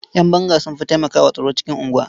Ƴan banga sun fi taimakwa wa tsaro cikin unguwa.